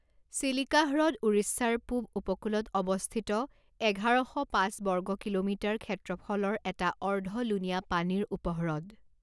চিলিকা হ্ৰদ উৰিষ্যাৰ পূব উপকূলত অৱস্থিত এঘাৰ শ পাঁচ বৰ্গ কিলোমিটাৰ ক্ষেত্ৰফলৰ এটা অৰ্ধ লুণীয়া পানীৰ উপহ্ৰদ।